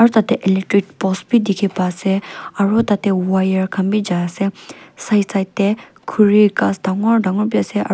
aru tah teh electric post bhi dikhi pa ase aru tah teh wire khan bhi ja ase side side teh khori ghass dangor dangor bhi ase aru.